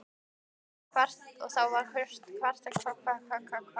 Og þá var kvartað undan þeim.